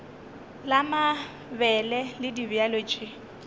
la mabele le dibjalo tše